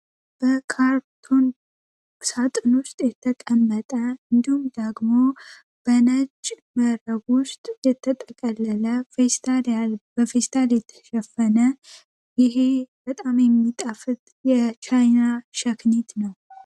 በካርቶን ሳጥን ውስጥ የተቀመጠ እንዱም ደግሞ በነጅ መረብ ውስጥ የተጠቀለለ ል በፌስታል የተሸፈነ ይሄ በጣም የሚጣፍት የቻይና ሸክኒት ነው።